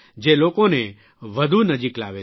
જે લોકોને વધુ નજીક લાવે છે